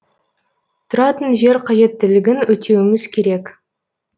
тұратын жер қажеттілігін өтеуіміз керек